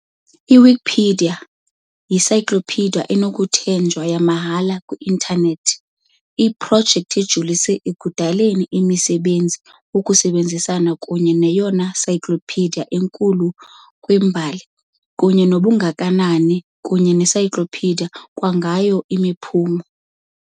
I-Wikipedia yi-encyclopedia enokuthenjwa yamahhala e-intanethi, iprojekti ejolise ekudaleni umsebenzi wokusebenzisana kunye neyona encyclopedia enkulu kwimbali kunye nobungakanani, kunye ne-encyclopedia kwangayo imiphumo.